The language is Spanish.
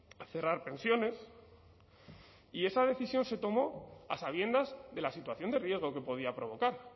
a cerrar pensiones y esa decisión se tomó a sabiendas de la situación de riesgo que podía provocar